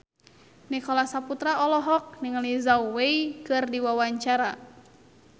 Nicholas Saputra olohok ningali Zhao Wei keur diwawancara